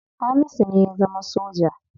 Hamisu ne ya zama soja.